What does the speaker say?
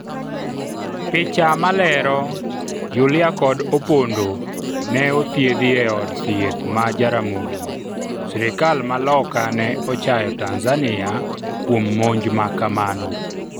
picha malero, Yulia kod Opondo ne othiedhi eod thieth ma Jaramogi ,sirikal ma loka ne ochayo Tanzania kuom monj ma kamano,